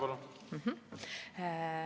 Palun!